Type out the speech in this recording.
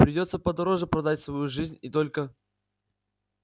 придётся подороже продать свою жизнь и только